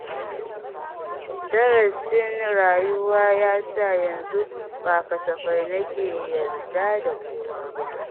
Darasin rayuwa yasa yanzu ba kasafai na ke yarda da kowa ba